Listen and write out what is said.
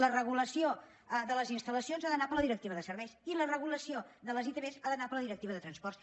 la regulació de les instal·lacions ha d’anar per la directiva de serveis i la regulació de les itv ha d’anar per la directiva de transports